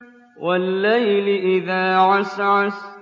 وَاللَّيْلِ إِذَا عَسْعَسَ